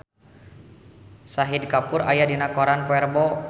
Shahid Kapoor aya dina koran poe Rebo